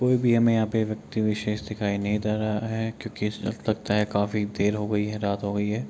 कोई भी हमें यहाँ पे व्यक्ति विशेष दिखाई नहीं दे रहा है क्यों की इस वक़्त तक लगता है काफी देर हो गई है रात हो गयी है ।